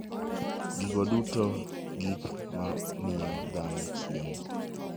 Gigo duto gin gik ma miyo dhano chiemo.